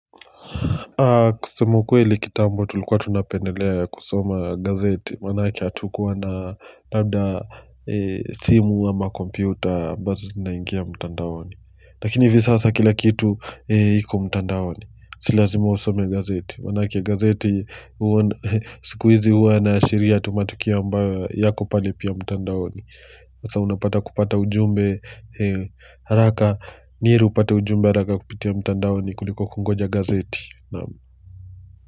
Kusema ukweli kitambo tulikuwa tunapendelea kusoma gazeti manake hatukuwa na labda simu ama kompyuta ambazo zinaingia mtandaoni. Lakini hivi sasa kila kitu iko mtandaoni. Si lazima usome gazeti. Manake gazeti, sikuizi huwa inaashiria tu matukio ambayo yako pale pia mtandaoni. Sasa unapata kupata ujumbe haraka ni heri upate ujumbe haraka kupitia mtandaoni kuliko kungoja gazeti naam!